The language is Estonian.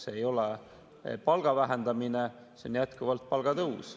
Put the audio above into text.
See ei ole palga vähendamine, see on jätkuvalt palgatõus.